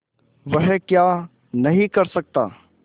वह क्या नहीं कर सकता